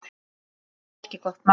Ekki gott mál.